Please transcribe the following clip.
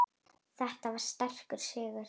Þetta var sterkur sigur.